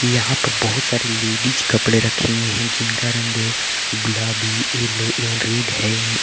यहां पर बहुत सारी लेडिस कपड़े रखें हुए हैं जिनका रंग गुलाबी येलो एवं रेड है।